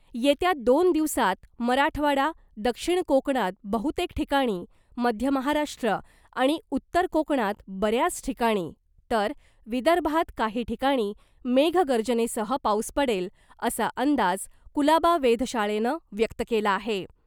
येत्या दोन दिवसात मराठवाडा , दक्षिण कोकणात बहुतेक ठिकाणी , मध्य महाराष्ट्र आणि उत्तर कोकणात बऱ्याच ठिकाणी , तर विदर्भात काही ठिकाणी मेघगर्जनेसह पाऊस पडेल , असा अंदाज कुलाबा वेधशाळेनं व्यक्त केला आहे .